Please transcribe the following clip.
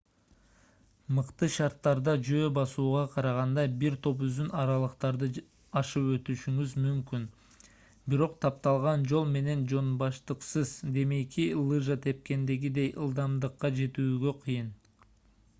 мыкты шарттарда жөө басууга караганда бир топ узун аралыктарды ашып өтүшүңүз мүмкүн бирок тапталган жол менен жонбаштыксыз демейки лыжа тепкендегидей ылдамдыкка жетүүгө кыйын